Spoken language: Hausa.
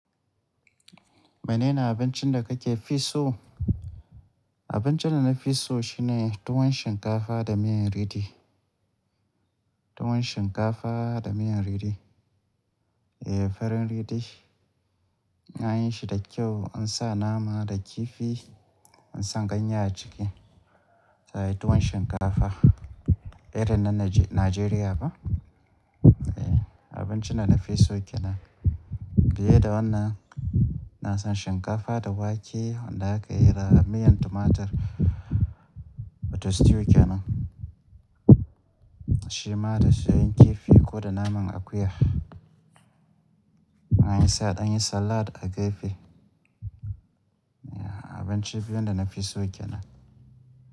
Mene ne abincin da kake fi so? Abincin da na fi so shine tuwon shinkafa da miyan riɗi. Tuwon shinkafa da miyan ridi. Eh, farin riɗi. Ana yin shi da kyau, an sa nama da kifi, an sa ganye a ciki tuwon shinkafa. Irin na Najeriya ba abinci na na fi so kenan. Biye da wannan, ina son shinkafa da wake wanda aka yi da miyan tumatur wato stew kenan. Shi ma da soyayyen kifi ko da naman akuya. An sa ɗan salad a gefe. Abinci biyu da na fi so kenan.